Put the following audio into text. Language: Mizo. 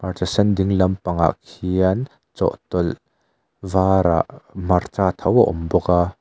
hmarcha sen dinglam pangah khian chawhtawlh varah hmarcha tho a awm bawk a.